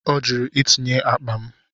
Ọ jụrụ itinye akpa m.